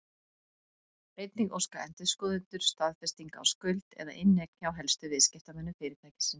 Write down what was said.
Einnig óska endurskoðendur staðfestinga á skuld eða inneign hjá helstu viðskiptamönnum fyrirtækisins.